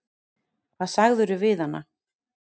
Hvað sagðirðu við hana?